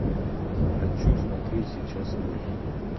хочу смотреть сейчас мульт